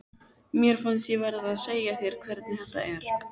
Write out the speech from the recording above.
Mér fannst ég verða að segja þér hvernig þetta er.